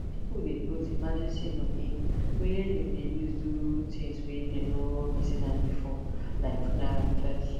people dey put emergency money wey them dey use do things wey them no reason before like funeral first